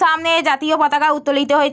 সামনে জাতীয় পতাকা উত্তলিত হয়--